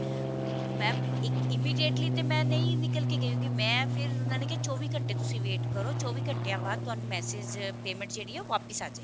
mam ਇੱਕ immediately ਤੇ ਮੈਂ ਨਹੀਂ ਨਿਕਲ ਕੇ ਗਈ ਕਿਉਂਕਿ ਮੈਂ ਫਿਰ ਉਹਨਾ ਨੇ ਕਿਹਾ ਚੋਵੀ ਘੰਟੇ ਤੁਸੀ wait ਕਰੋ ਚੋਵੀ ਘੰਟਿਆਂ ਬਾਅਦ ਤੁਹਾਨੂੰ message payment ਜਿਹੜੀ ਹੈ ਉਹ ਵਾਪਿਸ ਆ ਜਾਏਗੀ